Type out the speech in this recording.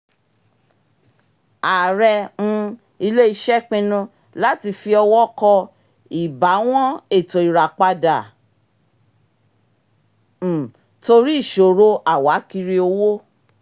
ààrẹ um ilé-iṣẹ́ pinnu láti fi ọwọ́ kọ ìbáwọ́n ètò ìràpadà um torí ìṣòro àwákírí owó